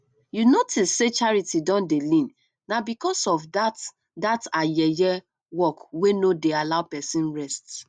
you notice say charity don dey lean na because of dat dat her yeye work wey no dey allow person rest